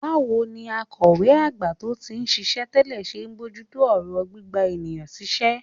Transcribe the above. Báwo ni akọ̀wé àgbà tó ti ń ṣiṣẹ́ tẹ́lẹ̀ ṣe ń bójú tó ọ̀rọ̀ gbígba èèyàn síṣẹ́?